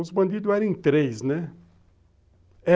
Os bandidos eram em três, né?